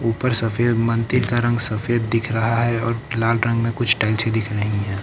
ऊपर सफेद मंदिर का रंग सफेद दिख रहा है और लाल रंग में कुछ टाइल्सें दिख रही हैं।